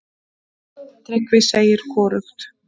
Tryggvi segir hvorugt.